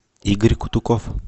игорь кутуков